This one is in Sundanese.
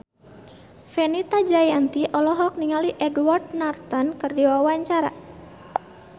Fenita Jayanti olohok ningali Edward Norton keur diwawancara